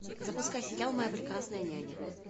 запускай сериал моя прекрасная няня